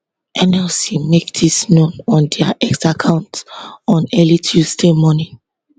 nlc make dis known on dia x account on early tuesday morning